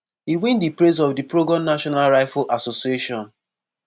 e win di praise of di pro-gun national rifle association.